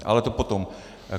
Ale to potom.